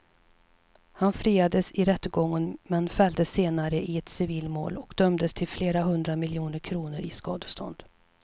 Han friades i rättegången men fälldes senare i ett civilmål och dömdes till flera hundra miljoner kronor i skadestånd.